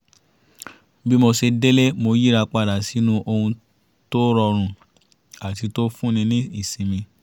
bí mo ṣe dé’lé mo yíra padà sínú ohun tó rọrùn àti tó fún ni ní ìsinmi